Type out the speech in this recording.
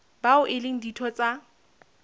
bao e leng ditho tsa